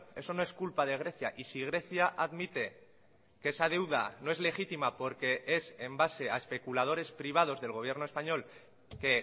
eso no es culpa de grecia y si grecia admite que esa deuda no es legítima porque es en base a especuladores privados del gobierno españo l que